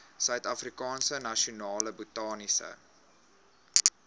suidafrikaanse nasionale botaniese